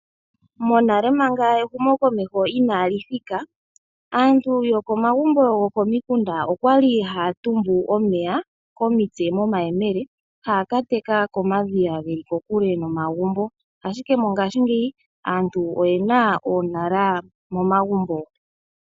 Monale manga ehumo komeho inali thika aantu yo komagumbo gokomikunda okwali haya tumbu omeya komitse momayemele. Haya ka teka komadhiya geli ko kule nomagumbo, ashike mongashingeyi aantu oyena oonala mo magumbo.